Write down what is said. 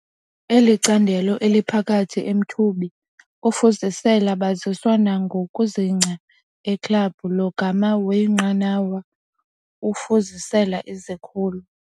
Eli candelo eliphakathi emthubi ufuzisela baziswa nokuzingca eklabhu, logama weenqanawa ufuzisela izikhulu.